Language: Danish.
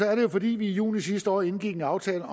er det jo fordi vi i juni sidste år indgik en aftale